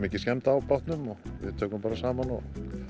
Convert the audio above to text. mikil skemmd á bátnum við tökum bara saman og